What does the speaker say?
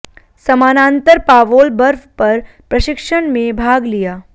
समानांतर पावोल बर्फ पर प्रशिक्षण में भाग लिया